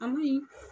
An me